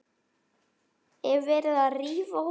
Er verið að rífa húsið?